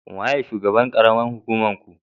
Wanene shugaban karamar hukumar ku?